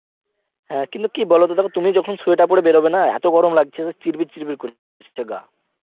হ্যাঁ কি বলতো দেখো তুমি যখন স্বিয়াতের পরে বেরোবে না এত গরম লাগছে যে চিবির চির্বির করে উঠছে গা